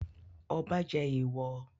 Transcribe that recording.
Ọba jẹ èèwọ̀?